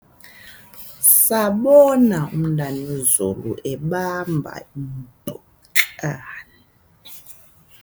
sabona umntanezulu ebamba impukane